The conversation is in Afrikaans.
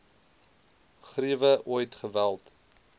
griewe ooit geweld